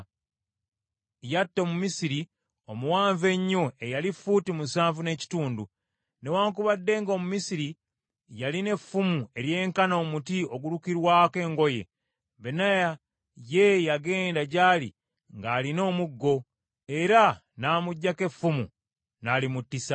Yatta Omumisiri omuwanvu ennyo eyali fuuti musanvu n’ekitundu. Newaakubadde nga Omumisiri yalina effumu eryenkana omuti ogulukirwako engoye, Benaya ye yagenda gyali ng’alina omuggo, era n’amuggyako effumu, n’alimuttisa.